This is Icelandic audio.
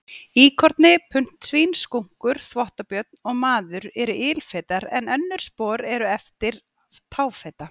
Íkorni, puntsvín, skunkur, þvottabjörn og maður eru ilfetar en önnur spor eru eftir táfeta.